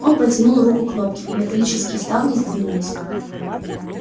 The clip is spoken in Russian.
он протянул руку к кнопке и металлические ставни сдвинулись